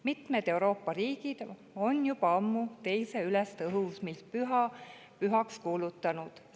Mitmed Euroopa riigid on juba ammu 2. ülestõusmispüha pühaks kuulutanud.